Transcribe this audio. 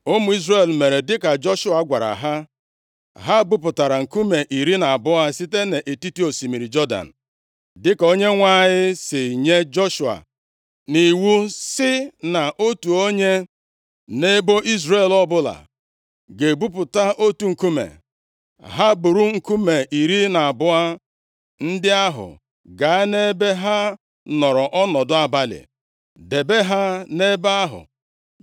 Ụmụ Izrel mere dịka Joshua gwara ha. Ha buputara nkume iri na abụọ site nʼetiti osimiri Jọdan, dịka Onyenwe anyị si nye Joshua nʼiwu sị na otu onye, nʼebo Izrel ọbụla, ga-ebuputa otu nkume. Ha buuru nkume iri na abụọ ndị ahụ gaa nʼebe ha nọrọ ọnọdụ abalị, debe ha nʼebe ahụ.